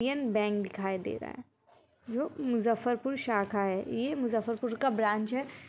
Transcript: Indian Bank दिखाई दे रहा है जो मुजफ्फर पुर शाखा का है ये मुजफ्फर पुर का ब्रांच है ।